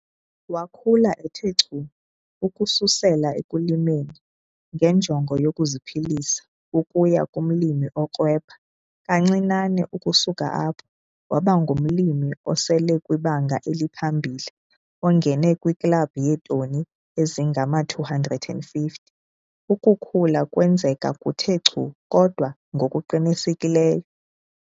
Wakhula ethe chu ukususela ekulimeni ngenjongo yokuziphilisa ukuya kumlimi okrwebha kancinane ukusuka apho waba ngumlimi oselekwibanga eliphambili ongene kwiKlabhu yeeToni ezingama-250. Ukukhula kwenzeka kuthe chu kodwa ngokuqinisekileyo.